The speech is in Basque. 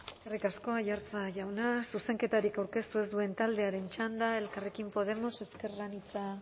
eskerrik asko aiartza jauna zuzenketarik aurkeztu ez duen taldearen txanda elkarrekin podemos ezker anitza